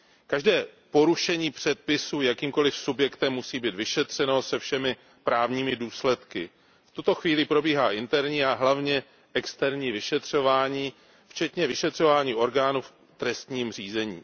Každé porušení předpisů jakýmkoli subjektem musí být vyšetřeno se všemi právními důsledky. V tuto chvíli probíhá interní a hlavně externí vyšetřování včetně vyšetřování orgánů v trestním řízení.